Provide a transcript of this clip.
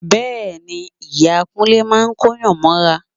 Bẹ́ẹ̀ ni, ìyá Kúnlé máa kóyàn mọ́ra